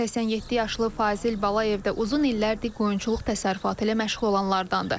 87 yaşlı Fazil Balayev də uzun illərdir qoyunçuluq təsərrüfatı ilə məşğul olanlardandır.